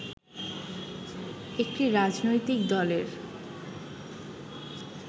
একটি রাজনৈতিক দলের